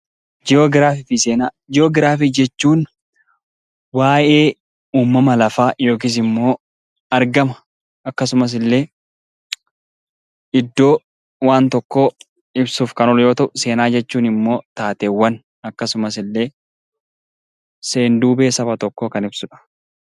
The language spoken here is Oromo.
Ji'oogiraafii fi seenaa. Ji'oogiraafii jechuun waa'ee uumama lafaa yookiis immoo argama akkasumas illee iddoo waan tokkoo ibsuuf kan oolu yoo ta'u, seenaa jechuun immoo waan yookaan seen- duubee saba tokkoo kan ibsudha.